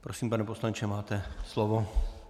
Prosím, pane poslanče, máte slovo.